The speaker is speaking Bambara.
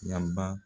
Yaba